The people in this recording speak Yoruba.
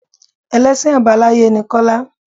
Ẹlẹ́sìn Àbáláyé ni Kọ́lá.